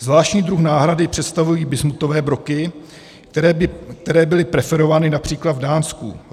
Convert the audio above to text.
Zvláštní druh náhrady představují bismutové broky, které byly preferovány například v Dánsku.